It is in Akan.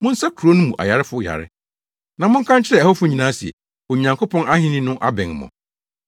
Monsa kurow no mu ayarefo yare, na monka nkyerɛ ɛhɔfo nyinaa se, ‘Onyankopɔn ahenni no abɛn mo.’